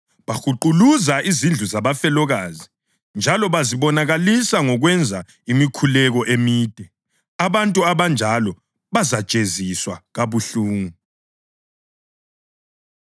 Bahuquluza izindlu zabafelokazi njalo bazibonakalisa ngokwenza imikhuleko emide. Abantu abanjalo bazajeziswa kabuhlungu.”